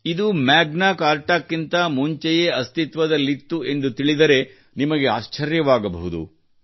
ಇದು ಮ್ಯಾಗ್ನಾ ಕಾರ್ಟಾಕ್ಕಿಂತ ಮುಂಚೆಯೇ ಅಸ್ತಿತ್ವದಲ್ಲಿತ್ತು ಎಂದು ತಿಳಿದರೆ ನಿಮಗೆ ಆಶ್ಚರ್ಯವಾಗಬಹುದು